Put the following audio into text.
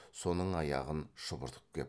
соның аяғын шұбыртып кеп